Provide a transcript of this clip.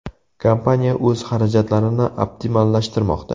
Kompaniya o‘z xarajatlarini optimallashtirmoqda.